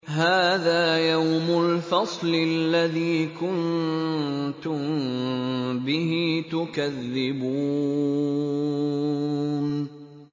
هَٰذَا يَوْمُ الْفَصْلِ الَّذِي كُنتُم بِهِ تُكَذِّبُونَ